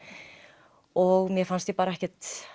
og mér fannst ég ekkert